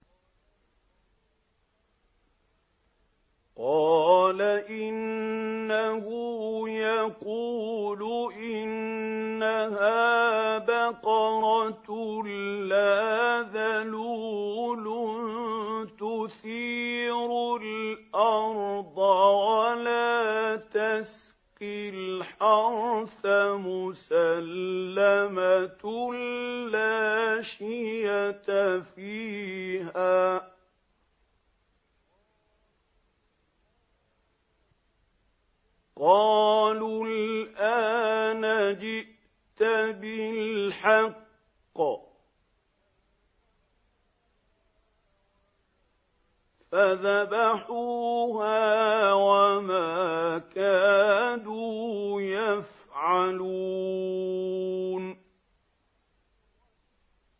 قَالَ إِنَّهُ يَقُولُ إِنَّهَا بَقَرَةٌ لَّا ذَلُولٌ تُثِيرُ الْأَرْضَ وَلَا تَسْقِي الْحَرْثَ مُسَلَّمَةٌ لَّا شِيَةَ فِيهَا ۚ قَالُوا الْآنَ جِئْتَ بِالْحَقِّ ۚ فَذَبَحُوهَا وَمَا كَادُوا يَفْعَلُونَ